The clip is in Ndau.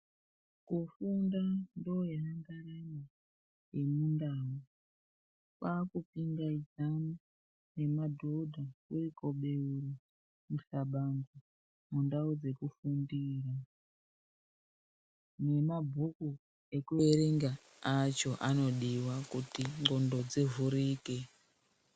Kufunda ndoyandaramo yemundau kwakupingaidzana nemadhodha kuri kobeura muhlabano mundau dzekufundira nemabhuku ekuerengaacho anodiwa kuti ndxondo dzivhurike.